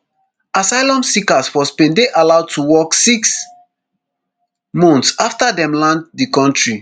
asylum seekers for spain dey allowed to work six months afta dem land di kontri